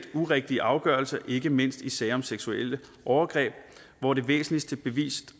urigtige afgørelser ikke mindst i sager om seksuelle overgreb hvor det væsentligste bevis